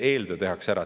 See eeltöö tehakse ära.